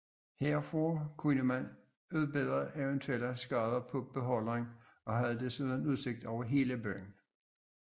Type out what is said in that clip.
Herfra kunne man udbedre eventuelle skader på beholderen og havde desuden udsigt over hele byen